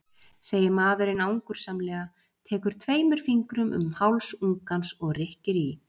segir maðurinn angursamlega, tekur tveimur fingrum um háls ungans og rykkir í.